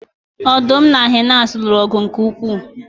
Ọdụm na hyenas lụrụ ọgụ nke ukwuu